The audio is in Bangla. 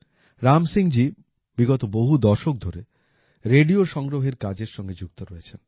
রাম সিংজি বিগত বহু দশক ধরে রেডিও সংগ্রহের কাজের সঙ্গে যুক্ত রয়েছেন